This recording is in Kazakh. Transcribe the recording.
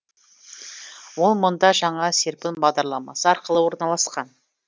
ол мұнда жаңа серпін бағдарламасы арқылы орналасқан